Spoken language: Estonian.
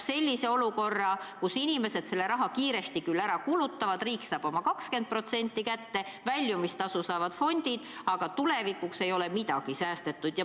Inimesed kulutavad selle raha kiiresti ära, riik saab oma 20% kätte, fondid saavad väljumistasu, aga tulevikuks ei ole midagi säästetud.